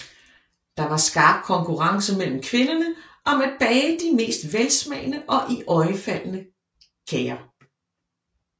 Der var skarp konkurrence mellem kvinderne om at bage de mest velsmagende og iøjnefaldende kager